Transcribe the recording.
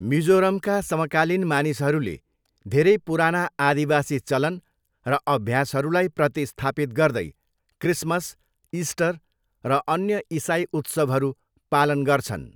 मिजोरमका समकालीन मानिसहरूले धेरै पुराना आदिवासी चलन र अभ्यासहरूलाई प्रतिस्थापित गर्दै, क्रिसमस, इस्टर र अन्य इसाइ उत्सवहरू पालन गर्छन्।